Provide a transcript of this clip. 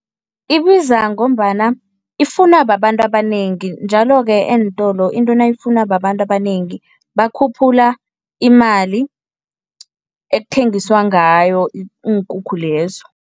Ibiza ngombana ifunwa babantu abanengi njalo-ke eentolo into nayifunwa babantu abanengi, bakhuphula imali ekuthengiswa ngayo iinkukhu lezo.